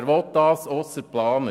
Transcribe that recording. Wer will das ausser den Planern?